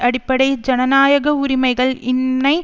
அடிப்படை ஜனநாயக உரிமைகள் இன்மை